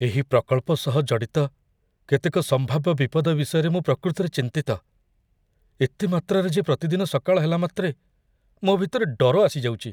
ଏହି ପ୍ରକଳ୍ପ ସହ ଜଡ଼ିତ କେତେକ ସମ୍ଭାବ୍ୟ ବିପଦ ବିଷୟରେ ମୁଁ ପ୍ରକୃତରେ ଚିନ୍ତିତ, ଏତେ ମାତ୍ରାରେ ଯେ ପ୍ରତିଦିନ ସକାଳ ହେଲା ମାତ୍ରେ ମୋ ଭିତରେ ଡର ଆସିଯାଉଛି।